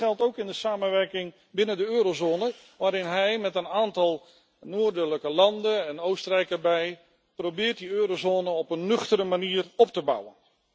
Dat geldt ook voor de samenwerking binnen de eurozone, waarbij hij met een aantal noordelijke landen en Oostenrijk probeert die eurozone op een nuchtere manier op te bouwen.